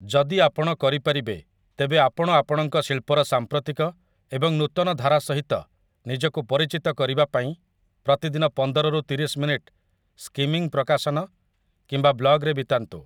ଯଦି ଆପଣ କରିପାରିବେ, ତେବେ ଆପଣ ଆପଣଙ୍କ ଶିଳ୍ପର ସାମ୍ପ୍ରତିକ ଏବଂ ନୂତନ ଧାରା ସହିତ ନିଜକୁ ପରିଚିତ କରିବା ପାଇଁ ପ୍ରତିଦିନ ପନ୍ଦର ରୁ ତିରିଶି ମିନିଟ୍ ସ୍କିମିଂ ପ୍ରକାଶନ କିମ୍ବା ବ୍ଲଗ୍‌ ରେ ବିତାନ୍ତୁ ।